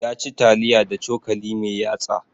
Ya ci taliya da cokali mai yatsa